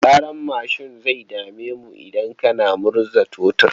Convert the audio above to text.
Ƙarar mashin zai dame mu idan kana murza totur.